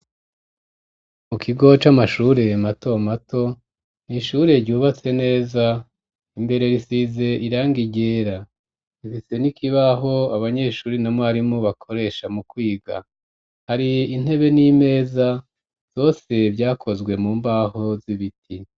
Mu kigo c'amashure matomato, n'ishure ryubatse neza, imbere risize irangi ryera, rifise n'ikibaho abanyeshuri na mwarimu bakoresha mu kwiga, har'intebe n'imeza, zose vyakozwe mu mbaho z'ibiti.